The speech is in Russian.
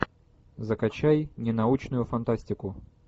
закачай ненаучную фантастику